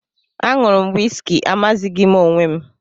Añụru m wisiki amaghịzi m onwe m